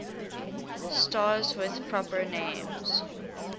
stars with proper names